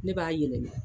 Ne b'a yɛlɛma